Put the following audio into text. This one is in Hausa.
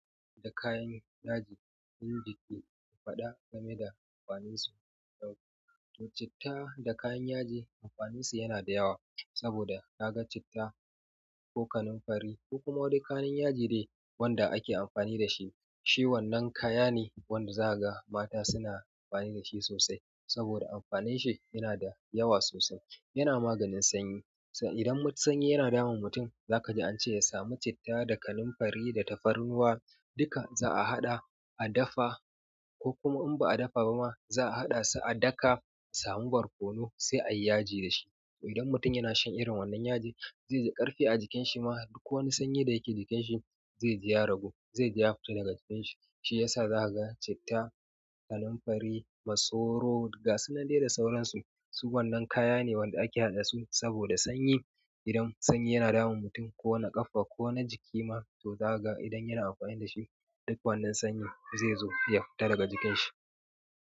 Da kayan yaji, inda ke faɗa game da amfaninsu. To citta da kayan yaji amfanin su yana da yawa saboda kaga citta, ko kanun fari ko kuma duk kalan yaji de wanda ake amfani da shi. Shi wannan kaya ne wanda zaka ga mata suna amfani da shi sosai. Saboda amfanin shi yana da yawa sosai. Yana maganin sanyi. Idan sanyi yana damun mutum za ka ji a ce ya samu citta da kanin fari da tafarnuwa. Duka za'a haɗa, a dafa ko kuma in ba a dafa ba ma za'a haɗa su a daka, a samu barkono sai a yi yaji da shi. Idan mutum yana shan irin wannan yaji zai ji ƙarfi a jikin shi ma duk wani sanyi da yake jikin shi zai ji ya ragu, zai ji ya fita daga jikin shi. Shi yasa za ka ga citta, kanin fari, masoro, gas su nan dai da sauransu. Su wannan kaya ne wanda ake haɗa su saboda sanyi. Idan sanyi yana damun mutum ko na ƙafa ƙona jiki ma to zaka ga idan yana amfani dashi duk wannan sanyi zaizo ya fita daga jikin shi.